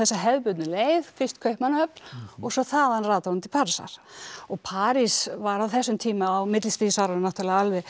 hefðbundnu leið fyrst Kaupmannahöfn og svo þaðan rataði hún til Parísar og París var á þessum tíma á millistríðsárunum náttúrulega alveg